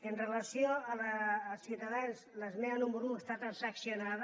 amb relació a ciutadans l’esmena número un està transaccionada